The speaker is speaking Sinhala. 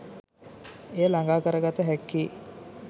එය ළඟා කරගත හැක්කේ